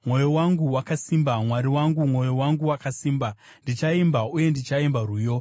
Mwoyo wangu wakasimba, Mwari wangu, mwoyo wangu wakasimba; ndichaimba uye ndichaimba rwiyo.